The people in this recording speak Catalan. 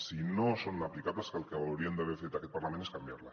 si no són aplicables el que hauria d’haver fet aquest parlament és canviar les